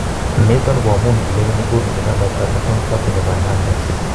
Niton ko amun kileweni buunke chamait ab National Party nebo Hernandez